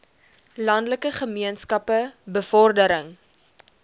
landelike gemeenskappe bevordering